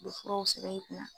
U be furaw sɛbɛn i kun na.